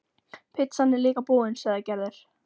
Pitsan er líka búin, sagði Gerður.